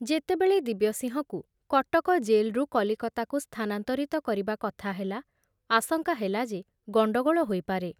ଯେତେବେଳେ ଦିବ୍ୟସିଂହକୁ କଟକ ଜେଲରୁ କଲିକତାକୁ ସ୍ଥାନାନ୍ତରିତ କରିବା କଥା ହେଲା, ଆଶଙ୍କା ହେଲା ଯେ ଗଣ୍ଡଗୋଳ ହୋଇପାରେ।